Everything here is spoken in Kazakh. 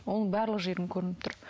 оның барлық жерің көрініп тұр